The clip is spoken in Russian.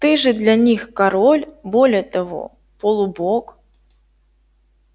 ты же для них король более того полубог